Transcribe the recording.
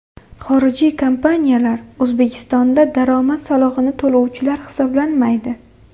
Xorijiy kompaniyalar O‘zbekistonda daromad solig‘ini to‘lovchilar hisoblanmaydi.